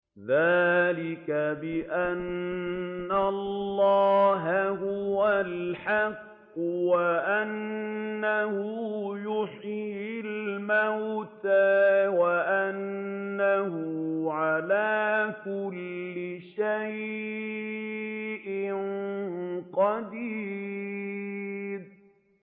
ذَٰلِكَ بِأَنَّ اللَّهَ هُوَ الْحَقُّ وَأَنَّهُ يُحْيِي الْمَوْتَىٰ وَأَنَّهُ عَلَىٰ كُلِّ شَيْءٍ قَدِيرٌ